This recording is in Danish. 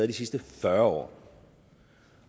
de sidste fyrre år